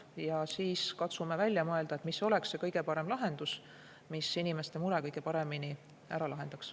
Ja siis katsume välja mõelda, mis oleks kõige parem lahendus, mis inimeste mure kõige paremini ära lahendaks.